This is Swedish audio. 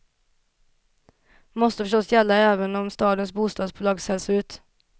Måste förstås gälla även om stadens bostadsbolag säljs ut.